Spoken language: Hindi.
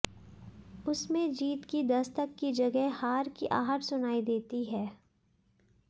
उसमें जीत की दस्तक की जगह हार की आहट सुनाई देती है